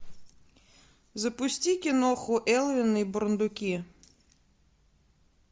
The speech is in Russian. запусти киноху элвин и бурундуки